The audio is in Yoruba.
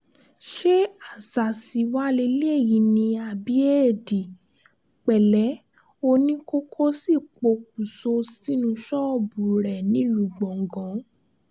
ṣé àṣàsí wàá lélẹ́yìí ni àbí éèdì pẹ̀lẹ́ oníkókó sì pokùṣọ̀ sínú ṣọ́ọ̀bù rẹ nílùú gbọ̀ngàn